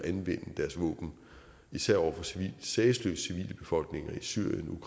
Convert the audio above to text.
at anvende deres våben især over for sagesløse civile befolkninger i syrien